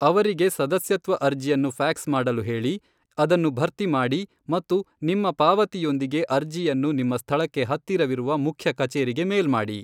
ಅವರಿಗೆ ಸದಸ್ಯತ್ವ ಅರ್ಜಿಯನ್ನು ಫ್ಯಾಕ್ಸ್ ಮಾಡಲು ಹೇಳಿ, ಅದನ್ನು ಭರ್ತಿ ಮಾಡಿ ಮತ್ತು ನಿಮ್ಮ ಪಾವತಿಯೊಂದಿಗೆ ಅರ್ಜಿಯನ್ನು ನಿಮ್ಮ ಸ್ಥಳಕ್ಕೆ ಹತ್ತಿರವಿರುವ ಮುಖ್ಯ ಕಚೇರಿಗೆ ಮೇಲ್ ಮಾಡಿ.